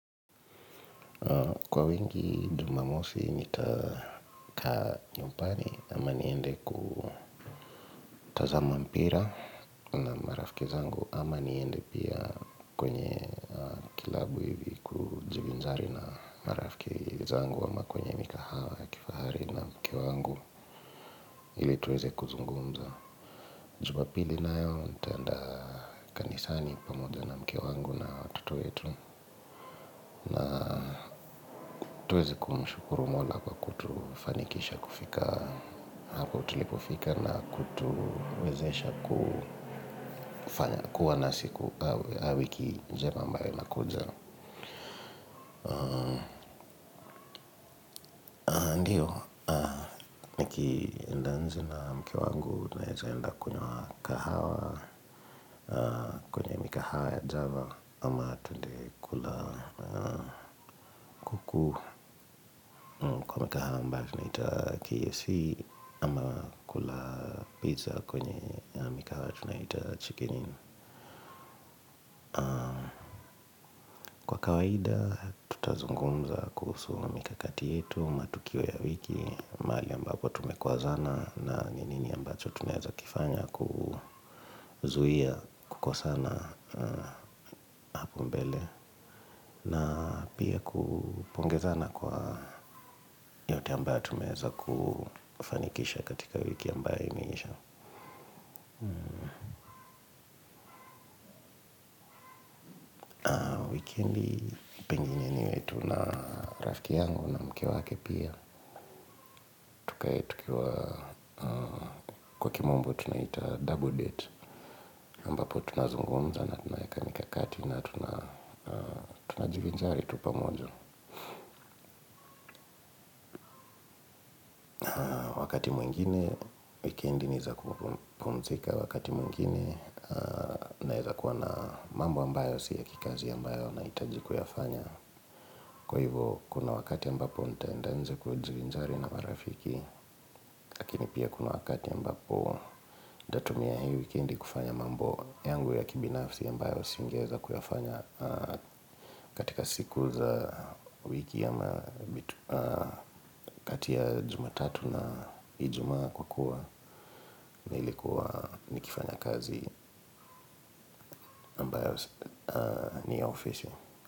Kwa wengi jumamosi nitakaa nyumbani ama niende kutazama mpira na marafiki zangu ama niende pia kwenye klabu hivi kujivinjari na marafiki zangu ama kwenye mikahawa ya kifahari na mke wangu ili tuweze kuzungumza. Jumapili nayo nitaenda kanisani pamoja na mke wa wangu na watoto wetu. Tuweze kumshukuru mola kwa kutufanikisha kufika hapo tulipofika na kutuwezesha kufanya kuwa nasi kwa wiki njema ambayo inakuja. Ndiyo, nikienda nje na mke wangu, naeza enda kunywa kahawa, kwenye mikahawa ya java. Ama twende kula kuku kwa mikahawa ambayo tunaita kfc ama kula pizza kwenye mikahawa tunayoita chicken inn. Kwa kawaida tutazungumza kuhusu mikakati yetu matukio ya wiki mahali ambapo tumekosana na nini ambacho tunaeza kifanya kuzuia kukosana hapo mbele. Na pia kupongezana kwa yote ambayo tumeweza kufanikisha katika wiki ambayo imeisha wikendi pengine niwe tu na rafiki yangu na mke wake pia. Tukae tukiwa kwa kimombo tunaita double date ambapo tunazungumza na tunaeka mikakati na tunajivinjari tu pamoja. Wakati mwingine wikendi ni za kupumzika. Wakati mwingine naeza kuwa na mambo ambayo si ya kikazi ambayo nahitaji kuyafanya. Kwa hivo kuna wakati ambapo nitaenda nje kujivinjari na marafiki. Lakini pia kuna wakati ambapo ntatumia hii wikendi kufanya mambo yangu ya kibinafsi ambayo singeweza kuyafanya. Katika siku za wiki ama kati ya jumatatu na ijumaa kwa kuwa nilikuwa nikifanya kazi ni ya ofisi.